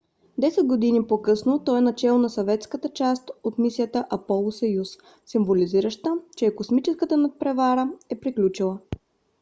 десет години по-късно той е начело на съветската част от мисията аполо–съюз символизираща че е космическата надпревара е приключила